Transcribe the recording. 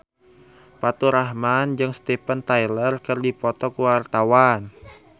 Faturrahman jeung Steven Tyler keur dipoto ku wartawan